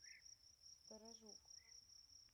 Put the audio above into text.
сторожук